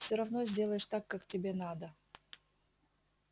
всё равно сделаешь так как тебе надо